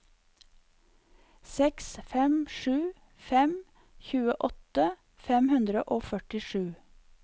seks fem sju fem tjueåtte fem hundre og førtisju